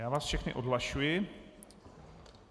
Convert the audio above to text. Já vás všechny odhlašuji.